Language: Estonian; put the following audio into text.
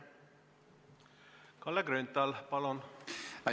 Kalle Grünthal, palun!